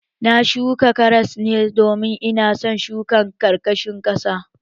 Na shuka karas ne domin ina son shukin ƙarkashin ƙasa